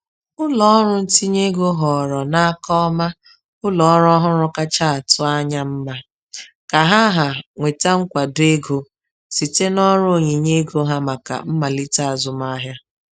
Ụlọọrụ ntinye ego họọrọ n’aka ọma ụlọọrụ ọhụrụ kacha atụ anya mma ka ha ha nweta nkwado ego site n’ọrụ onyinye ego ha maka mmalite azụmahịa.